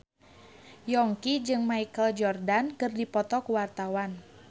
Yongki jeung Michael Jordan keur dipoto ku wartawan